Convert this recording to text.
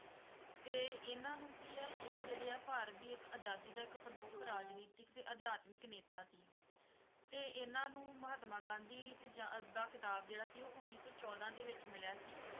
ਤੇ ਇਹਨਾਂ ਨੂੰ ਕੀ ਹੈ ਇਹ ਜਿਹੜੇ ਹੈਂ ਭਾਰਤ ਦੀ ਇੱਕ ਆਜ਼ਾਦੀ ਦਾ ਇੱਕ ਪ੍ਰਮੁੱਖ ਰਾਜਨੀਤਿਕ ਤੇ ਅਦਯਾਤਮਿਕ ਨੇਤਾ ਸੀ ਤੇ ਇਹਨਾਂ ਨੂੰ ਮਹਾਤਮਾ ਗਾਂਧੀ ਦਾ ਖ਼ਿਤਾਬ ਜਿਹੜਾ ਸੀ ਉਹ ਉਨੀ ਸੌ ਚੋਦਾਂ ਵਿੱਚ ਮਿਲਿਆ ਸੀ।